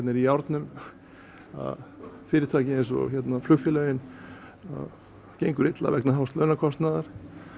er í járnum fyrirtæki eins og flugfélögin gengur illa vegna hás launakostnaðar